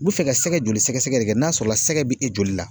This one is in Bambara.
U bɛ fɛ ka sɛgɛ joli sɛgɛsɛgɛ de kɛ n'a sɔrɔla sɛgɛ bɛ e joli la